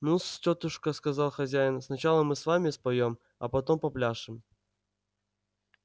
ну-с тётушка сказал хозяин сначала мы с вами споём а потом попляшем